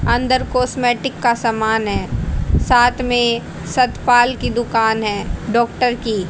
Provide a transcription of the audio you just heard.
अंदर कॉस्मेटिक का समान है साथ में सतपाल की दुकान है डॉक्टर की।